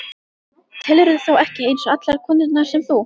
Telurðu þá ekki eins og allar konurnar sem þú?